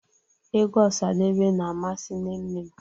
Egwu Osadebe na-amasị nne nnem